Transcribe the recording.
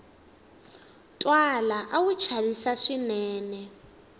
twala a wu chavisa swinene